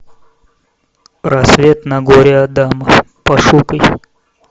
рассвет на горе адама пошукай